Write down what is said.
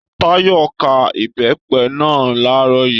Táyọ̀ ká Ìbẹ́pẹ́ náà làárọ̀ yìí.